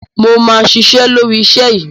Mo ma ṣiṣẹ́ lórí iṣẹ́ yìí.